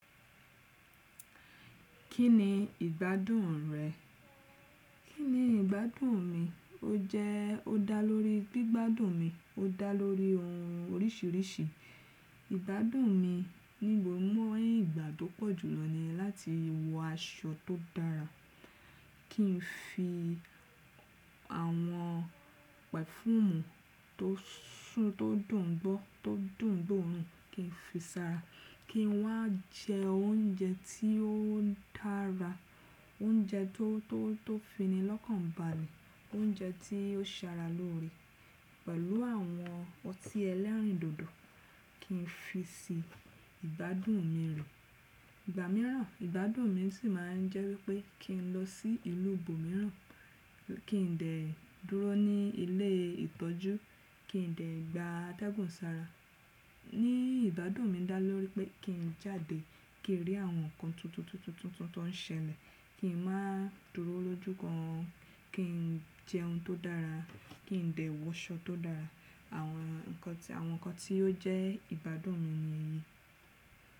Kí ni ìgbádùn rẹ̀? Kí ni ìgbádùn mi? Ó jẹ́ ó dá lórí gbígbádùn mi, ó dá lórí ohun oríṣiríṣi. Ìgbádùn mi níbo mọ́ ìgbà tó pọ̀jù lọ ni láti wọ aṣọ tó dára, kí n fi àwọn pẹ̀fúùmù tó súùn tó dùn gbọ́, tó dùn gbóòórùn, kí n fi sára, kí n wá jẹ oúnjẹ tí ó dára, oúnjẹ tó, tó, tó fi ni lọ́kàn balẹ̀, oúnjẹ tí ó sara lóore, pẹ̀lú àwọn ọtí ẹlẹ́rìndòdò, kí n fi si ìgbádùn mi lò. Ìgbà mìíràn ìgbádùn mi sì máa ń jẹ́ wípé kí n lọ sí ìlú ibomìíràn, kí n dẹ̀ dúró ní ilé ìtọ́jú, kí n dẹ̀ gba ategún sára. Ní ìgbádùn mi dá lórí pé kí n jáde, kí n rí àwọn nǹkan tuntun, tuntun, tuntun tó ń ṣẹlẹ̀, kí n má dúró lójúkan, kí n jẹ ohun tó dára, kí n dẹ̀ wọ aṣọ tó dára. Àwọn ǹkan tí, àwọn ǹkan tí ó jẹ́ ìgbádùn mi ni èyí.